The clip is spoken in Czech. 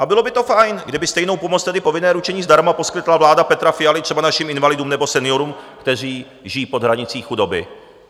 A bylo by to fajn, kdyby stejnou pomoc, tedy povinné ručení zdarma, poskytla vláda Petra Fialy třeba našim invalidům nebo seniorům, kteří žijí pod hranicí chudoby.